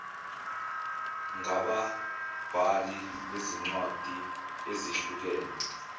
ngababhali bezincwadi ezihlukene